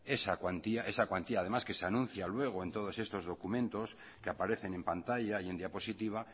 esa cuantía esa cuantía que además que se anuncia luego en todos estos documentos que aparecen en pantalla y en diapositiva